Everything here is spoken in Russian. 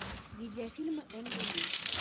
видеофильмы энга ли